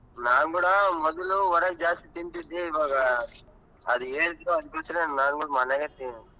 ನಾನ್ ಕೂಡಾ ಮೊದಲು ಹೊರಗ್ ಜಾಸ್ತಿ ತಿಂತಿದ್ದೆ ಇವಾಗ ಅದು ಅದು ಬಿಟ್ರೆ ನಾನ್ ಕೂಡಾ ಮನೆಲೆ ತೀನ್.